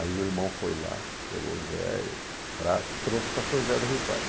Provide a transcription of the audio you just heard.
Aí o irmão foi lá, pegou o Zé fraco, trouxe para São José do Rio Pardo.